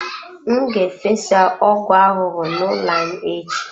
M ga-efesa ọgwụ ahụhụ n'ụlọ anyị echi.